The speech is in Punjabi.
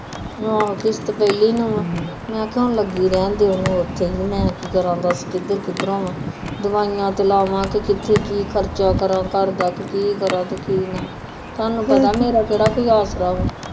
ਆਹੋ ਕਿਸਤ ਪੇਹਲੀ ਨੂੰ ਆ ਮੇਖਾ ਹੁਣ ਲਗੀ ਰਹਿਣ ਦੇ ਓਹਨੂੰ ਉਥੇ ਹੀ ਮੈ ਕਿ ਕਰਾ ਦਸ ਕਿੱਧਰ ਕਿੱਧਰ ਹੋਵਾ ਦਵਾਈਆਂ ਤੇ ਲਾਵਾਂ ਕੇ ਕਿੱਥੇ ਕਿ ਖਰਚਾ ਕਰਾ ਘਰਦਾ ਕਿ ਕਰਾ ਤੇ ਕਿ ਨਾ ਤਾਨੂੰ ਪਤਾ ਮੇਰਾ ਕੇਹੜਾ ਕੋਈ ਆਸਰਾ